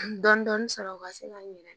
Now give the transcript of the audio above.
Dɔndɔni sɔrɔ u ka se ka n yɛrɛ